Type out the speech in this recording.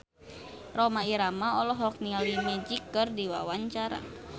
Rhoma Irama olohok ningali Magic keur diwawancara